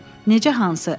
Necə hansı?